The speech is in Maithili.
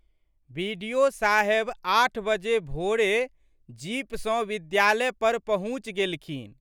बि.डि.ओ.साहेब आठ बजे भोरे जीप सँ विद्यालय पर पहुँचि गेलखिन।